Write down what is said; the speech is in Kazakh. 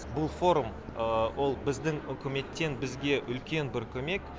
бұл форум ол біздің үкіметтен бізге үлкен бір көмек